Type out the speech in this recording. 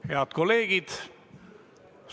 Head kolleegid!